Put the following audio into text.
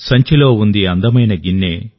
సంచిలో ఉంది అందమైన గిన్నె